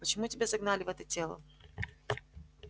почему тебя загнали в это тело